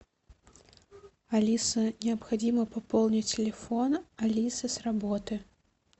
алиса необходимо пополнить телефон алисы с работы